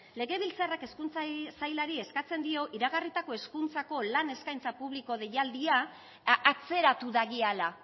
eskatzen dio iragarritako hezkuntzako lan eskaintza publiko deialdia atzeratu dagiala